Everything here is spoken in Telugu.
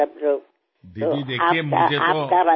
చూడండి దీదీ నాకు మీ